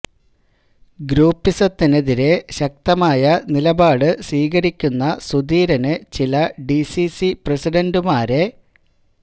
ഗ്രൂപ്പിസത്തിനെതിരെ ശക്തമായ നിലപാട് സ്വീകരിക്കുന്ന സുധീരന് ചില ഡി സി സി പ്രസിഡന്റുമാരെ